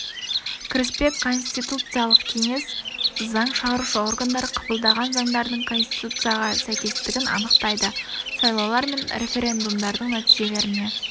кіріспе конституциялық кеңес заң шығарушы органдар қабылдаған заңдардың конституцияға сйкестігін анықтайды сайлаулар мен референдумдардың нәтижелеріне